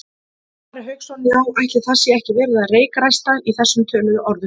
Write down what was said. Ari Hauksson: Já, ætli það sé ekki verið að reykræsta í þessum töluðu orðum?